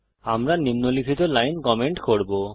আমরা নিম্নলিখিত line comment করব